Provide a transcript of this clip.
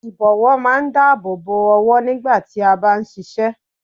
Ìbọ̀wọ́ máa ń dáàbò bo ọwọ́ nígbà tí a bá ń ṣiṣẹ́